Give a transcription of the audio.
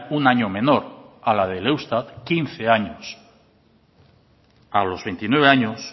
un año menor a la del eustat quince años a los veintinueve años